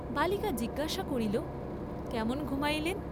বালিকা জিজ্ঞাসা করিল কেমন ঘুমাইলেন?